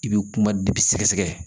I bɛ kuma de sɛgɛsɛgɛ